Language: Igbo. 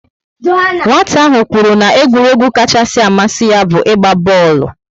Nwata ahụ kwuru na egwuregwu kachasị amasi ya bu igba booolu